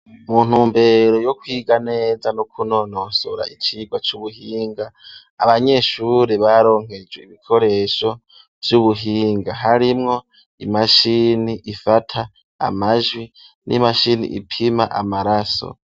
Mu ntumbero yo kwiga neza no kunonosora icigwa c'ubuhinga, abanyeshure baronkejwe ibikoresho vy'ubuhinga harimwo imashini ifata amajwi n'imashini ipima amaraso.